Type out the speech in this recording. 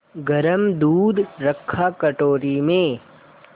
गरम दूध रखा कटोरी में